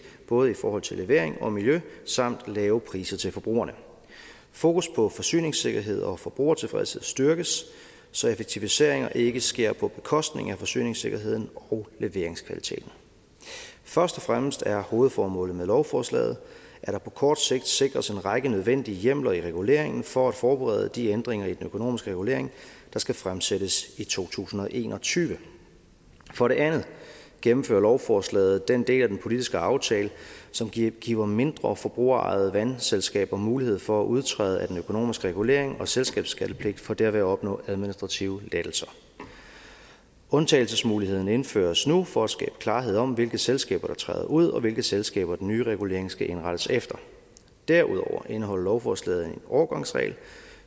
både i forhold til levering og miljø samt lave priser til forbrugerne fokus på forsyningssikkerhed og forbrugertilfredshed styrkes så effektiviseringer ikke sker på bekostning af forsyningssikkerheden og leveringskvaliteten først og fremmest er hovedformålet med lovforslaget at der på kort sigt sikres en række nødvendige hjemler i reguleringen for at forberede de ændringer i den økonomiske regulering der skal fremsættes i to tusind og en og tyve for det andet gennemfører lovforslaget den del af den politiske aftale som giver giver mindre forbrugerejede vandselskaber mulighed for at udtræde af den økonomiske regulering og selskabsskattepligt for derved at opnå administrative lettelser undtagelsesmuligheden indføres nu for at skabe klarhed om hvilke selskaber der træder ud og hvilke selskaber den nye regulering skal indrettes efter derudover indeholder lovforslaget en overgangsregel